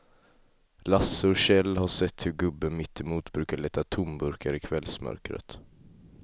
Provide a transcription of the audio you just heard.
Lasse och Kjell har sett hur gubben mittemot brukar leta tomburkar i kvällsmörkret.